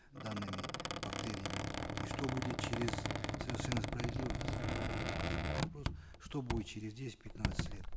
данными бактериями и что будет через совершенно справедливо коллега мукашев вопрос что будет через десять пятнадцать лет